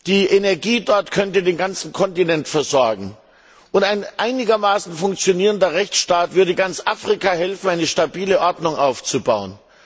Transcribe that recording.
Die Energie dort könnte den ganzen Kontinent versorgen, und ein einigermaßen funktionierender Rechtsstaat würde ganz Afrika helfen, eine stabile Ordnung aufzubauen.